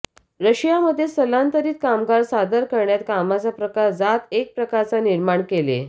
Russia मध्ये स्थलांतरीत कामगार सादर करण्यात कामाचा प्रकार जात एक प्रकारचा निर्माण केले